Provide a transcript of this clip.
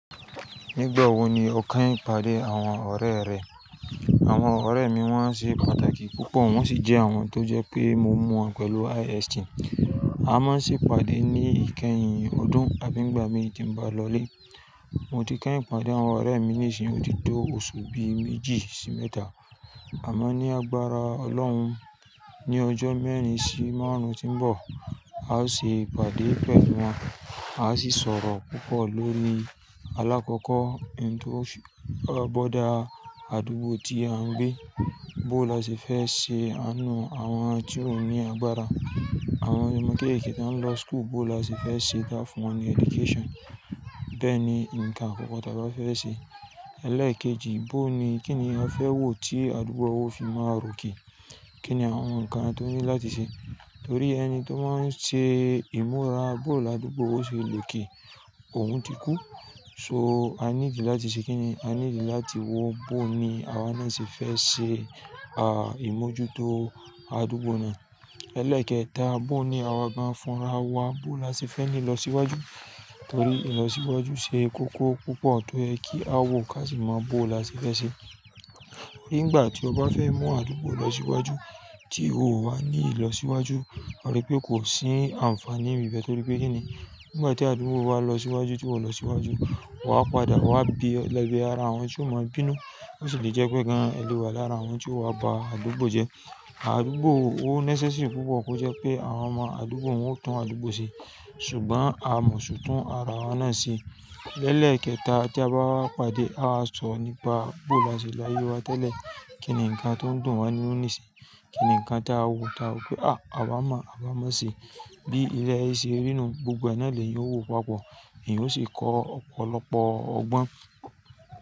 Nígbà wo ni o kán pàdé àwọn ọ̀rẹ́ rẹ? Àwọn ọ̀rẹ́ mi wọ́n ṣe pàtàkì púpọ̀, wọ́n sì jẹ́ àwọn tó jẹ́ pé mo mu wọ́n pẹ̀lú IST. A máa sì pàdé ní ìkẹyìn ọdún, àbí ìgbà mi tí n ba lọlé. Mo ti kán pàdé àwọn ọ̀rẹ́ mi nísìn, ó ti tó oṣù bí méjì sí mẹ́ta. Àmọ́ ní agbára Ọlọ́run, ní ọjọ́ mẹ́rin sí márùn-ún tó ń bọ̀, a o ṣe ìpàdé pẹ̀lú wọn. A ó sì sọ̀rọ̀ púpọ̀ lórí, alákọ̀kọ́, ohun tó gbọ́dọ̀ dá àdúgbò tí a ń gbé, bó la ṣe fẹ́ ṣe, àánú àwọn ti o ní agbára, àwọn ọmọ kéékèèké tó ń lọ school, bó la ṣe fẹ́ ṣe dá fún wọn ni education. Bẹ́ẹ̀ ni nǹkan ọ̀pọ̀ tó a bá fẹ́ ṣe. Ẹlẹ́ẹ̀kejì, bó ni, kí ni a fẹ́ wò tí àdúgbò wa ó fi máa ròkè? Kí ni àwọn nǹkan tó ní láti ṣe? Torí ẹni tó máa ń ṣe ìmúra bó làdúgbò ṣe loké, òun ti kú. So, a needi láti ṣe kí ni? A nílò láti wò bó ni àwa náà ṣe fẹ́ ṣe, ah, ìmójútó àdúgbò náà. Ẹlẹ́ẹ̀kẹta, bó ni àwa gan fúnra wa, bó la ṣe fẹ́ ni ilọ síwájú? Torí ìlọsíwájú ṣe kókó púpọ̀ tó ẹ kí a wò ká sì mọ bó la ṣe fẹ́ ṣe. Nígbà tí ọba fẹ́ mú àdúgbò lọ síwájú tí ò wá ní ìlọsíwájú, mo rí pé kò sí àǹfààní ìbẹ̀ torí pé kí ni? Nígbà tí àdúgbò wa lọ síwájú tí kò lọ síwájú, wàá padà wá bí lẹ́bi ara àwọn tí ó mọ̀ bínú. Ó sì lè jẹ́ pé gan-an ẹ lè wà lára àwọn tí ó wá ba àdúgbò jẹ́. Àdúgbò ó necessary púpọ̀ kó jẹ́ pé àwọn ọmọ àdúgbò wọn ó tún àdúgbò ṣe. Ṣùgbọ́n a mọ ṣùgbọ́n a ra wọ́n náà se. Lẹ́ẹkẹta, tí a bá wá pàdé, a máa sọ̀rọ̀ nípa bó la ṣe láyé wa tẹ́lẹ̀, kíni nǹkan tó ń dùn wá nínú níìsín, kíni nǹkan tá a wò tá a pé, "À! À bá mọ̀, à bá mọ̀ ṣe." Bí ilẹ̀ ṣe rínú, gbogbo ẹnáà lèhán yóò wò papọ̀, ìhò sì kọ́ ọ̀pọ̀lọpọ̀ ọgbọ́n.